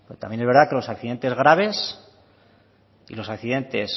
también es verdad que los accidentes graves y los accidentes